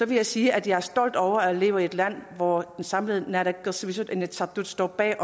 vil jeg sige at jeg er stolt over at jeg lever i et land hvor det samlede naalakkersuisut og inatsisartut står bag